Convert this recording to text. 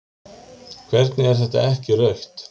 Hvernig er þetta ekki rautt?